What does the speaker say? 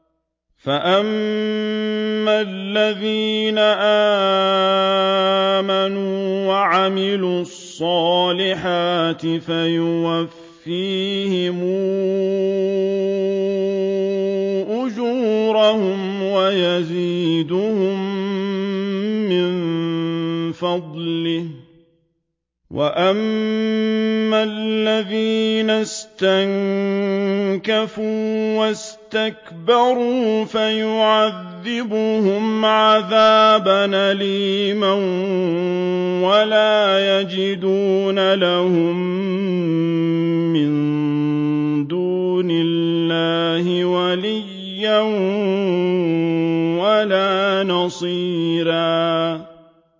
فَأَمَّا الَّذِينَ آمَنُوا وَعَمِلُوا الصَّالِحَاتِ فَيُوَفِّيهِمْ أُجُورَهُمْ وَيَزِيدُهُم مِّن فَضْلِهِ ۖ وَأَمَّا الَّذِينَ اسْتَنكَفُوا وَاسْتَكْبَرُوا فَيُعَذِّبُهُمْ عَذَابًا أَلِيمًا وَلَا يَجِدُونَ لَهُم مِّن دُونِ اللَّهِ وَلِيًّا وَلَا نَصِيرًا